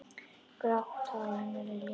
Grátt hár hennar er liðað.